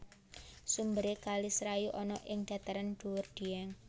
Sumbere kali serayu ana ing Dhataran dhuwur Dièng